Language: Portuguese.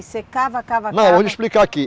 Você cava, cava, cava... Não, eu vou lhe explicar aqui.